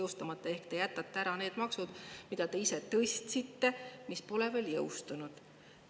Seega, te jätate ära need maksud, mida te ise tõstsite, aga mis pole veel jõustunud.